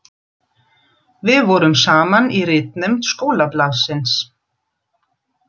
Við vorum saman í ritnefnd skólablaðsins.